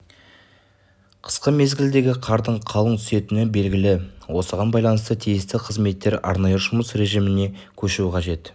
қысқы мезгілдегі қардың қалың түсетіні белгілі осыған байланысты тиісті қызметтер арнайы жұмыс режіміне көшуі қажет